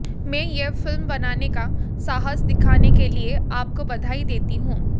मैं यह फिल्म बनाने का साहस दिखाने के लिए आपको बधाई देती हूं